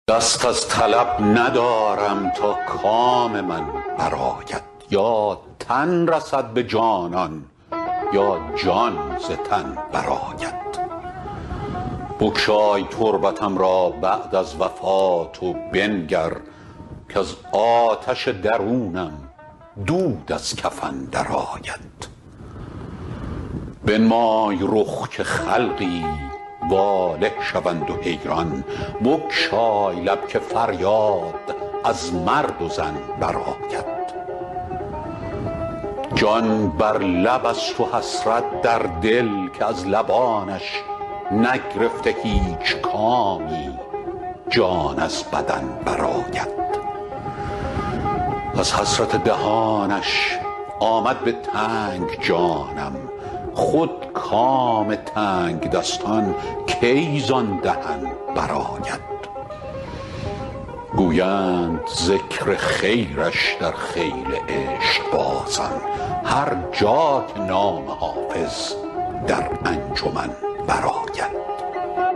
دست از طلب ندارم تا کام من برآید یا تن رسد به جانان یا جان ز تن برآید بگشای تربتم را بعد از وفات و بنگر کز آتش درونم دود از کفن برآید بنمای رخ که خلقی واله شوند و حیران بگشای لب که فریاد از مرد و زن برآید جان بر لب است و حسرت در دل که از لبانش نگرفته هیچ کامی جان از بدن برآید از حسرت دهانش آمد به تنگ جانم خود کام تنگدستان کی زان دهن برآید گویند ذکر خیرش در خیل عشقبازان هر جا که نام حافظ در انجمن برآید